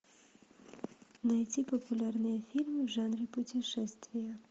найти популярные фильмы в жанре путешествия